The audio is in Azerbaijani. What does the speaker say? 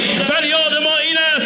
Fəryadımız budur.